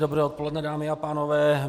Dobré odpoledne, dámy a pánové.